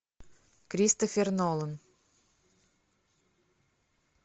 кристофер нолан